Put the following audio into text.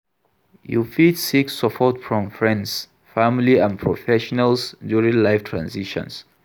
You fit seek support from friends, family and professionals during life transitions.